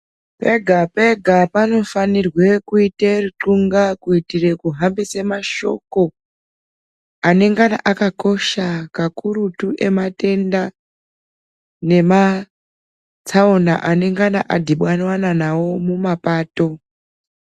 Pega pega panofanirwe kuite rucxunga kuitire kuhambise mashoko anenge akakosha kakurutu ematenda nema tsaona anenge adhibanwa nawo mumapato.